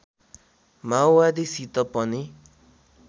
माओवादीसित पनि